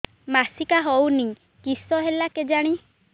ମାସିକା ହଉନି କିଶ ହେଲା କେଜାଣି